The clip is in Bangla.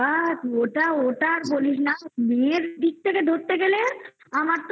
বাবা ওটা ওটা আর বলিস না. মেয়ের দিক থেকে ধরতে গেলে আমার তো